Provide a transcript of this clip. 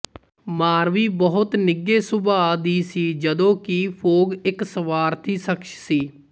ਮਾਰਵੀ ਬਹੁਤ ਨਿਘੇ ਸੁਭਾ ਦੀ ਸੀ ਜਦੋਂ ਕਿ ਫੋਗ ਇੱਕ ਸਵਾਰਥੀ ਸ਼ਖਸ ਸੀ